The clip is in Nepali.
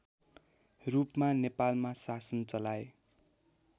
रूपमा नेपालमा शासन चलाए